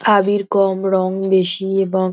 আবীর কম রং বেশি এবং --